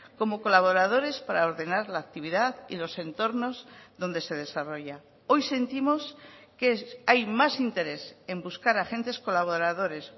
como colaboradores para ordenar la actividad y los entornos donde se desarrolla hoy sentimos que hay más interés en buscar agentes colaboradores